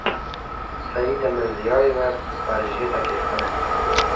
Saida Mirziyoyeva Parijga taklif qilindi .